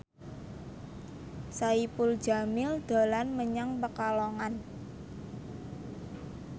Saipul Jamil dolan menyang Pekalongan